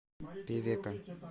певека